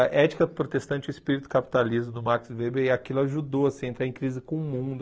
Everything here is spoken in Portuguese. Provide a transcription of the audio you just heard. A ética protestante e o espírito capitalismo do Max Weber, e aquilo ajudou assim a entrar em crise com o mundo.